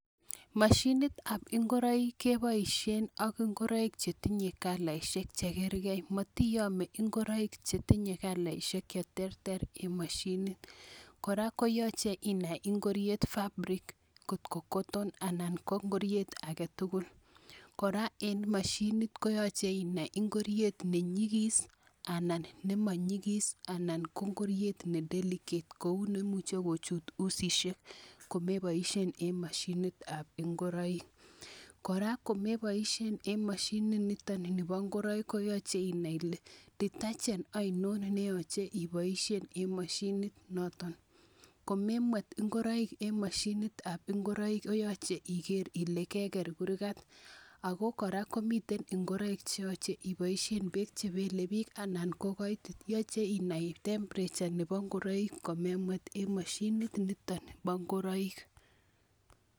Mashinitab ngoroik keboisien ak ngoroik chetinye kalaisiek chekerkee ,motiyomee ngoroik chetinye kalaisiek cheterter en moshinit kora koyache inai ngoriet fabric ngot ko koton anan ko ngoriet aketugul, kora en mashinit koyoche inai ngoriet nenyikis anan nemonyikis anan ko ngoriet ne deligate kou nemuche kochut usisiek komeboisien en mashinitab ngoroik, kora komeboisien en mashinit nito nipo ngoroik koyoche inai ile detergent ainon neyoche iboisien en mashinit noto komemwet ngoroik en mashinitab ngoroik koyoche ikere ile keker kurkat ako kora komiten ndoroik cheyoche iboisien beek chebele biik anan ko koitit yoche inai temperature nepo ngoroik komemwet en mashinit nito nipo ngoroik.